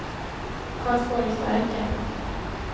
Karlsborgsverken